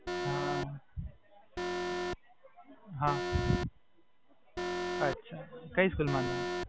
મે પદ્માવતી મહકલ વિદ્યાલય માં.